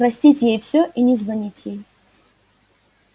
простить ей все и не звонить ей